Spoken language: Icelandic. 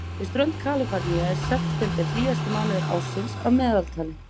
Við strönd Kaliforníu er september hlýjasti mánuður ársins að meðaltali.